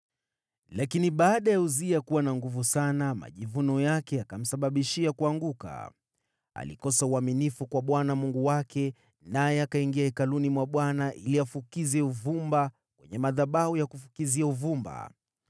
Lakini baada ya Uzia kuwa na nguvu sana, majivuno yake yakamsababishia kuanguka. Alikosa uaminifu kwa Bwana Mungu wake, naye akaingia hekaluni mwa Bwana ili afukize uvumba kwenye madhabahu ya kufukizia uvumba.